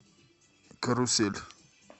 карусель